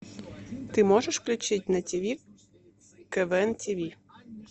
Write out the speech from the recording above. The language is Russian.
ты можешь включить на тиви квн тиви